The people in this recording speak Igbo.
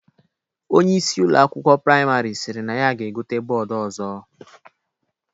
Onyeisi Ụlọ akwụkwọ praịmarị sịrị na ya ga-egote bọọdu ọzọ